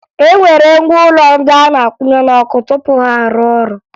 E nwere ngwa ụlọ ndị a na-akwụnye n'ọkụ tupu ha a rụọ ọrụ